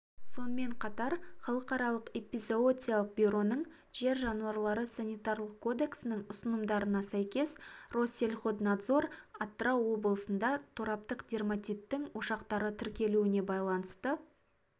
сонымен қатар халықаралық эпизоотиялық бюроның жер жануарлары санитарлық кодексінің ұсынымдарына сәйкес россельхознадзор атырау облысында тораптық дерматиттің ошақтары тіркелуіне байланысты